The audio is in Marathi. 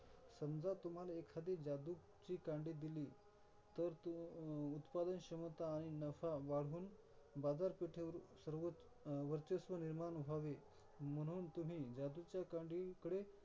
समजा, तुम्हाला एखादी जादूची कांडी दिली तर तू अं उत्पादन क्षमता आणि नफा वाढवून बाजारपेठेवरील सर्वत्र अं वर्चस्व निर्माण व्हावे, म्हणून तुम्ही जादूच्या कांडीकडे.